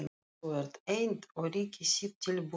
Þú ert einn og ríki þitt tilbúningur.